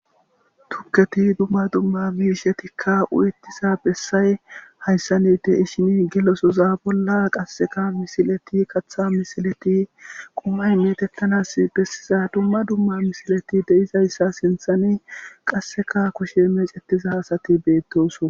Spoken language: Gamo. Tukketi dumma dumma miishe tikka u7ettiza bessay hayssani de ishini gelosoza bolla qasseka misileti katha misileti qumay metettanas bessiza dumma dumma misileti deizayssa sinthani qasseka kushe meecettiza hasati beettoso.